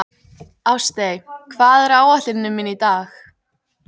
Ástey, hvað er á áætluninni minni í dag?